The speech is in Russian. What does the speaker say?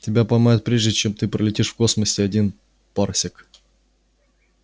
тебя поймают прежде чем ты пролетишь в космосе один парсек